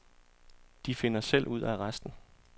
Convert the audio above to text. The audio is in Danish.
De finder selv ud af resten.